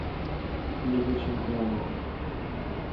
лиги чемпионов